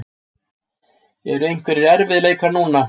Eru einhverjir erfiðleikar núna?